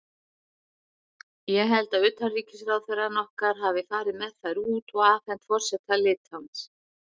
Ég held að utanríkisráðherrann okkar hafi farið með þær út og afhent forseta Litháens.